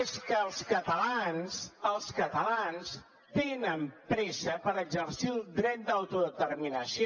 és que els catalans tenen pressa per exercir el dret d’autodeterminació